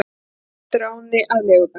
Heldur á henni að legubekknum.